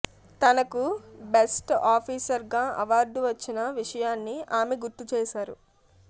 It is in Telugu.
తనకు బెస్ట్ ఆఫీసర్ గా అవార్డు వచ్చిన విషయాన్ని ఆమె గుర్తు చేశారు